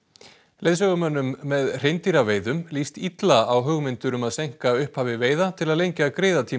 leiðsögumönnum með hreindýraveiðum líst illa á hugmyndir um að seinka upphafi veiða til að lengja